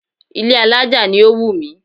Ilé alájà ni ó wù mí